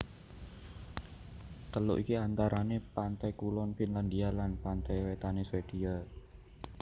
Teluk iki antarane pante kulon Finlandia lan pante wetane Swedia